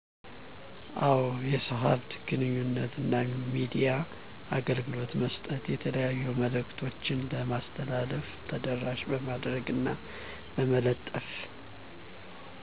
አዎ። የሰው ሃብት ግንኙነት እና የሚዲያ አገልግሎት በመስጠት የተለያዩ መልዕክቶችን በማስተላለፍ ተደራሽ በማድረግ እና በመለጠፍ